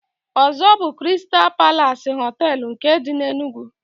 Ozo bu "Kristal Palas Hotel nke di n'Enugu.